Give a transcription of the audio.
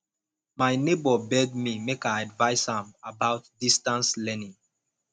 my nebor beg me make i advice am about distance learning